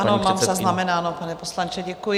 Ano, mám zaznamenáno, pane poslanče, děkuji.